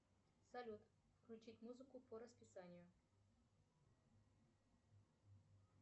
салют включить музыку по расписанию